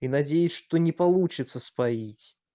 и надеюсь что не получится споить